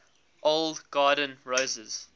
old garden roses